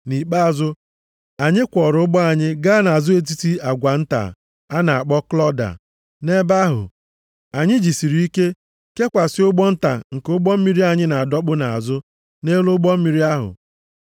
Nʼikpeazụ, anyị kwọọrọ ụgbọ anyị gaa nʼazụ agwa etiti nta a na-akpọ Klọda. Nʼebe ahụ anyị jisiri ike kekwasị ụgbọ nta nke ụgbọ mmiri anyị na-adọkpụ nʼazụ nʼelu ụgbọ mmiri ahụ.